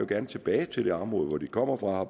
gerne tilbage til det område hvor de kommer fra